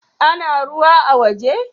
Ana ruwa a' woje?